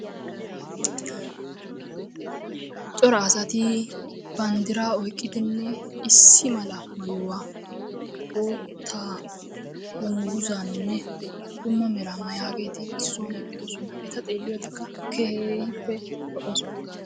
Cora asti banddira oyqqidinne maayuwa bootta dungguzanne dumma mera maayageeti issi sohuwaan eqqidoosona. eta xeeliyoodekka keehippe lo''oosona.